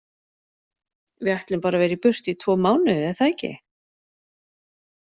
Við ætlum bara að vera í burtu í tvo mánuði er það ekki?